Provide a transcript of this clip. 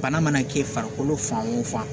Bana mana kɛ farikolo fan o fan